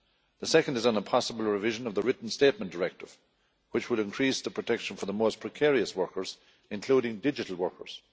The second is on a possible revision of the Written Statement Directive, which would increase the protection for the most precarious workers, including digital workers.